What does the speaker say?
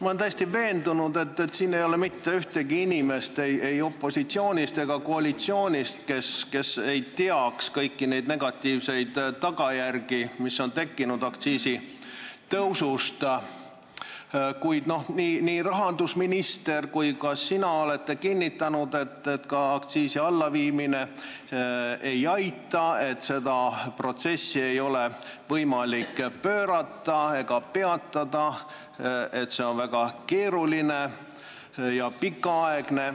Ma olen täiesti veendunud, et siin ei ole mitte ühtegi inimest ei opositsioonis ega koalitsioonis, kes ei teaks kõiki neid negatiivseid tagajärgi, mis on tekkinud aktsiisitõusust, kuid nii rahandusminister kui ka sina olete kinnitanud, et ka aktsiisi allaviimine ei aita, seda protsessi ei ole võimalik pöörata ega peatada, see on väga keeruline ja pikaaegne.